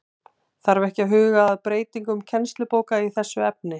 Þarf ekki að huga að breytingum kennslubóka í þessu efni?